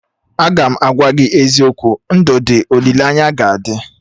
Agam agwa gị eziokwu, ndụ dị, olileanya ga adị